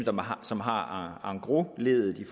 som har engrosleddet i